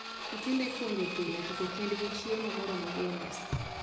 Nyithindo ipuonjo pile toko kendgi chiemo moromo gi e mesa